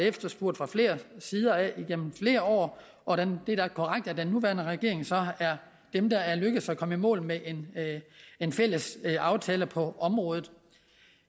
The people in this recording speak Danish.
efterspurgt fra flere sider igennem flere år og det er da korrekt at den nuværende regering så er den der er lykkedes at komme i mål med en fælles aftale på området